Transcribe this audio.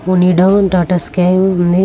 వునిడో data sky ఉంది